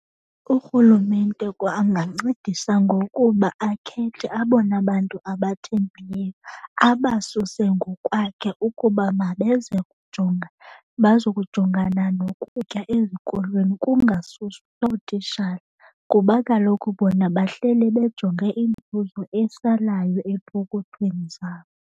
URhulumente angancedisa ngokuba akhethe abona bantu abathembileyo, abasuse ngokwakhe ukuba mabeze kujonga bazokujongana nokutya ezikolweni. Kungasuswa ootitshala kuba kaloku bona bahlele bejonge inzuzo esalayo epokothweni zabo.